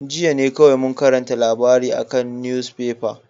Jiya ne kowai mun karanta labarin a'kan nuefefan.